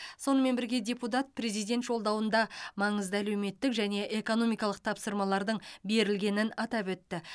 сонымен бірге депутат президент жолдауында маңызды әлеуметтік және экономикалық тапсырмалардың берілгенін атап өтті